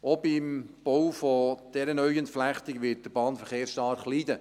Auch beim Bau dieser neuen Entflechtung wird der Bahnverkehr stark leiden.